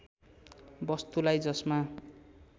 वस्तुलाई जसमा